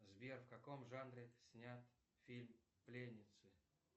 сбер в каком жанре снят фильм пленницы